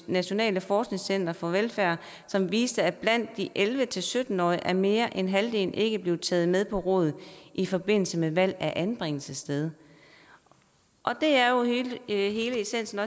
nationale forskningscenter for velfærd som viste at blandt de elleve til sytten årige er mere end halvdelen ikke blevet taget med på råd i forbindelse med valg af anbringelsessted det er jo hele essensen